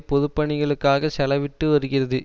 பொதுப்பணிகளுக்காக செலவிட்டு வருகிறது